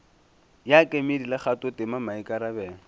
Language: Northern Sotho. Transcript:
ya kemedi le kgathotema maikarabelo